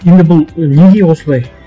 енді бұл неге осылай